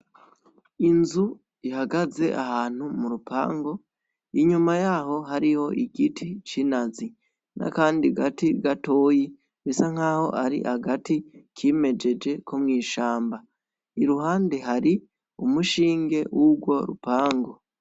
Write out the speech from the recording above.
Inzu ihagaze ahantu mu rupango inyuma yaho hariho igiti c'inazi nakandi gati gatoyi bisa nk'aho ari hagati kimejeje ko mwishamba iruhande hari umushinge 'urwo rupango.